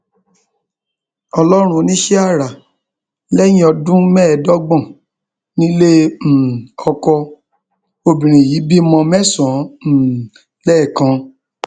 ọlọrun oníṣẹàrà lẹyìn ọdún mẹẹẹdọgbọn nílé um ọkọ obìnrin yìí bímọ mẹsànán um lẹẹkan